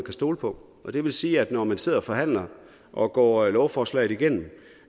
kan stole på og det vil sige at når man sidder og forhandler og går lovforslaget igennem